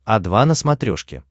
о два на смотрешке